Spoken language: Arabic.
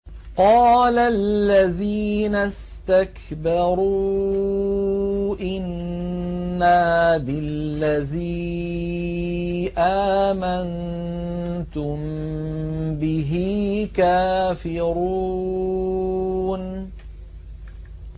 قَالَ الَّذِينَ اسْتَكْبَرُوا إِنَّا بِالَّذِي آمَنتُم بِهِ كَافِرُونَ